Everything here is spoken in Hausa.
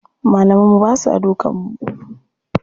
Malaman mu basa dukan mu.